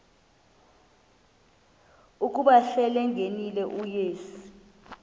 ukuba selengenile uyesu